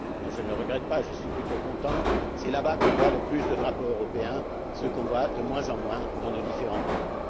enfin, je ne le regrette pas, j'en suis plutôt content là bas qu'on voit le plus de drapeaux européens, ce qu'on voit de moins en moins dans nos différents pays.